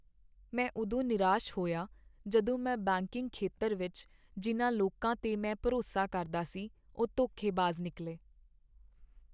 ਮੈਂ ਉਦੋਂ ਨਿਰਾਸ਼ ਹੋਇਆ ਜਦੋਂ ਮੈਂ ਬੈਂਕਿੰਗ ਖੇਤਰ ਵਿੱਚ ਜਿਨ੍ਹਾਂ ਲੋਕਾਂ 'ਤੇ ਮੈਂ ਭਰੋਸਾ ਕਰਦਾ ਸੀ ਉਹ ਧੋਖੇਬਾਜ਼ ਨਿਕਲੇ।